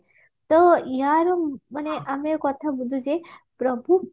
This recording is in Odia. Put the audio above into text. ତ ଇଆର ମାନେ ଆମେ କଥା ବୁଝୁଚେ ପ୍ରଭୁ